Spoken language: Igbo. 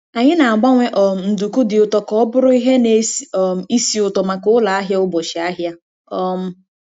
Anyị na-agbanwe um nduku dị ụtọ ka ọ bụrụ ihe na-esi um ísì ụtọ maka ụlọ ahịa ụbọchị ahịa. um